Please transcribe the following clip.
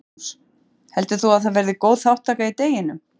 Magnús: Heldur þú að það verði góð þátttaka í deginum?